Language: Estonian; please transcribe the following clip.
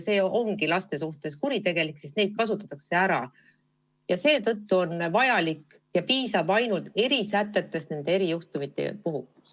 See ongi laste suhtes kuritegelik, sest neid kasutatakse ära, ja seetõttu piisabki ainult erisätetest, mida kasutatakse nende erijuhtumite puhul.